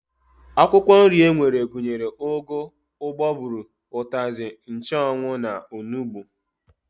Akwụkwọ nri e nwere gụnyere ụgụ, ụgbọgụrụ, ụtazị, nchụanwụ, onugbu